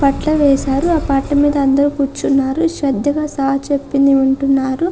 పట్ల వేశారు. ఆ పట్ల మీద అందరూ కూర్చున్నారు. శ్రద్ధగా సార్ చెప్పింది ఉంటున్నారు.